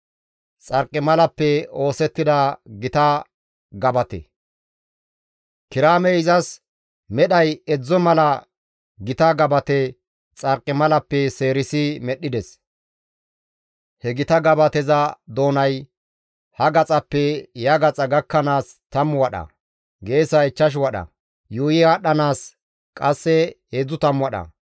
Kiraamey izas medhay edzdzo mala gita gabate xarqimalappe seerisi medhdhides; he gita gabateza doonay ha gaxaappe ya gaxa gakkanaas 10 wadha; geesay 5 wadha; yuuyi aadhdhanaas qasse 30 wadha.